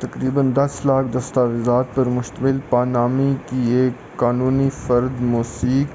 تقریبا دس لاکھ دستاویزات پر مشتمل پانامانی کی ایک قانونی فرم موسیک